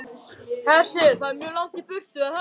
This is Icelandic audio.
Hersir: Það er mjög langt í burtu, er það ekki?